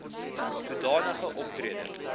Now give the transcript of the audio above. soda nige optrede